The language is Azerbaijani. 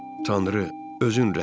Tanrı, özün rəhm elə.